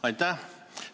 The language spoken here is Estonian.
Aitäh!